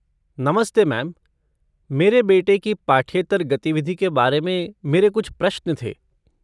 नमस्ते मैम, मेरे बेटे की पाठ्येतर गतिविधि के बारे में मेरे कुछ प्रश्न थे।